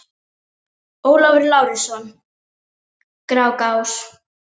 Næsti kostur var hangiketið og annar reyktur matur sem hafði verið geymdur frá haustinu.